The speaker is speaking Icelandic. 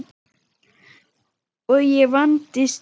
Og ég vandist því.